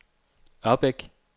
Ørbæk